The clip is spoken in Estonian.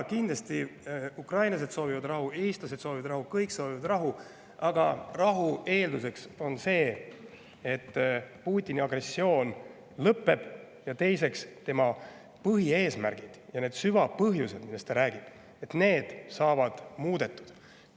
Kindlasti soovivad ukrainlased rahu, eestlased soovivad rahu, kõik soovivad rahu, aga rahu eeldus on see, et Putini agressioon lõpeb ning tema põhieesmärgid ja need süvapõhjused, millest ta räägib, saavad muudetud.